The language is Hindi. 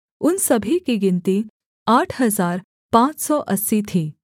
उन सभी की गिनती आठ हजार पाँच सौ अस्सी थी